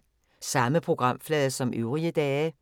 Samme programflade som øvrige dage